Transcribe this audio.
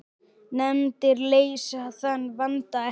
Nefndir leysa þann vanda ekki.